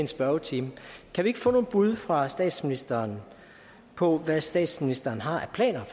spørgetimen kan vi ikke få nogle bud fra statsministeren på hvad statsministeren har af planer